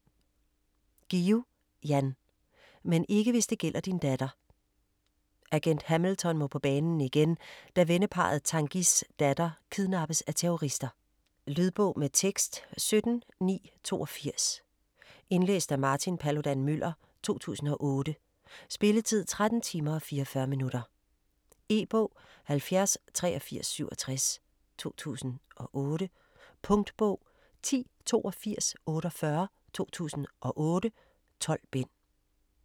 Guillou, Jan: Men ikke hvis det gælder din datter Agent Hamilton må på banen igen, da venneparret Tanguys datter kidnappes af terrorister. Lydbog med tekst 17982 Indlæst af Martin Paludan-Müller, 2008. Spilletid: 13 timer, 44 minutter. E-bog 708367 2008. Punktbog 108248 2008. 12 bind.